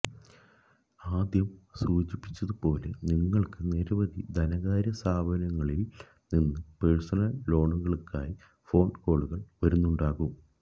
ആദ്യം സൂചിപ്പിച്ചതുപോല നിങ്ങള്ക്ക് നിരവധി ധനകാര്യസ്ഥാപനങ്ങളില് നിന്ന് പെഴ്സണല് ലോണുകള്ക്കായി ഫോണ് കോളുകള് വരുന്നുണ്ടാകും